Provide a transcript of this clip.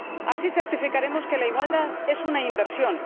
Así certificaremos que la igualdad es una inversión.